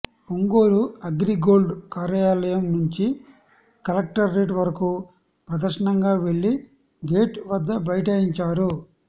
Ongole Agri Gold కార్యాల యం నుంచి కలెక్టరేట్ వరకూ ప్రదర్శనగా వెళ్ళి గేటు వద్ద బైఠాయించారు